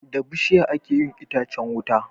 Da bishiya ake yin itacan wuta